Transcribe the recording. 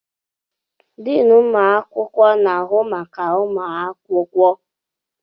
Deni ụmụakwụkwọ na-ahụ maka ụmụakwụkwọ